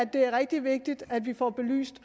det er rigtig vigtigt at vi får belyst